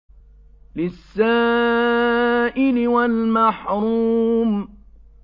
لِّلسَّائِلِ وَالْمَحْرُومِ